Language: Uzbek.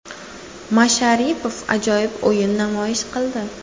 Masharipov ajoyib o‘yin namoyish qildi.